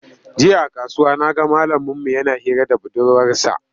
Jiya a kasuwa na ga malaminmu yana hira da budurwarsa.